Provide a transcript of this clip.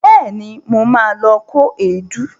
Bẹẹ̀ni, mo ma lọ kó èédú